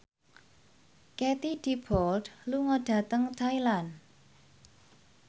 Katie Dippold lunga dhateng Thailand